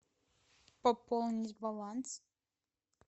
пополнить баланс